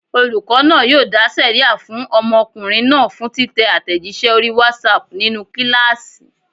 Olùkọ́ náà yóò dá sẹ̀ríà fún ọmọkùnrin náà fún títẹ àtẹ̀jíṣẹ́ orí WhatsApp nínú kíláàsì.